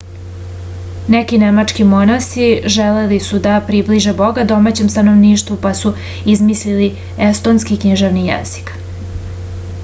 neki nemački monasi želeli su da približe boga domaćem stanovništvu pa su izmislili estonski književni jezik